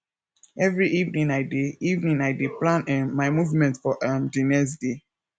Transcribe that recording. every evening i dey evening i dey plan um my movement for um di next day